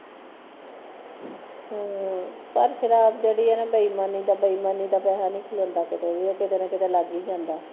ਹਮਮ ਪਰ ਫਿਰ ਆਪ ਜਿਹੜੀ ਹੈ ਨਾ ਬੇਈਮਾਨੀ ਦਾ ਬੇਈਮਾਨੀ ਦਾ ਪੈਸਾ ਨਹੀ ਖਲੋਂਦਾ ਕਿੱਥੇ ਵੀ ਉਹ ਕਿਥੇ ਨਾ ਕਿੱਥੇ ਲੱਗ ਹੀ ਜਾਂਦਾ